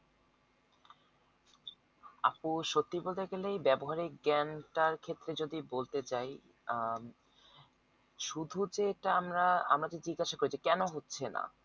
আপু সত্যি বলতে গেলে ব্যাবহারিক জ্ঞান টার ক্ষেত্রে যদি বলতে চাই আহ শুধু যেটা আমরা আমাদের জিজ্ঞাসা কইছি কেনো হচ্ছে না